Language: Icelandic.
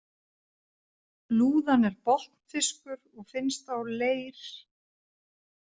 Lúðan er botnfiskur og finnst á leir-.